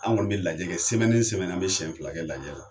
An kɔni bɛ lajɛ an bɛ siɲɛ fila kɛ lajɛ la